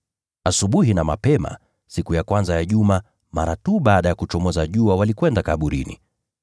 Asubuhi na mapema, siku ya kwanza ya juma, mara tu baada ya kuchomoza jua, walikwenda kaburini.